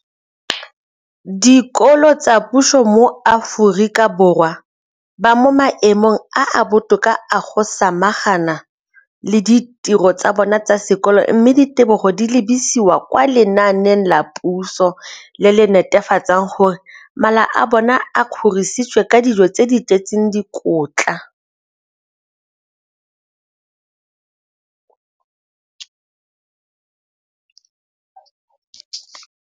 dikolo tsa puso mo Aforika Borwa ba mo maemong a a botoka a go ka samagana le ditiro tsa bona tsa sekolo, mme ditebogo di lebisiwa kwa lenaaneng la puso le le netefatsang gore mala a bona a kgorisitswe ka dijo tse di tletseng dikotla.